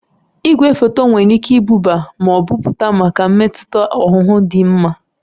Igwefoto nwere ike ibuba ma pụta maka mmetụta ọhụhụ dị mma.